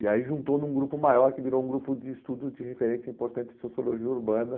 E aí juntou num grupo maior que virou um grupo de estudos de referência importante de sociologia urbana.